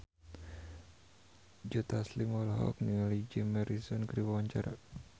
Joe Taslim olohok ningali Jim Morrison keur diwawancara